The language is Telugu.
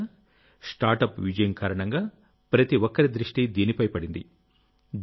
మిత్రులారాస్టార్ట్అప్ విజయం కారణంగాప్రతి ఒక్కరి దృష్టి దీనిపై పడింది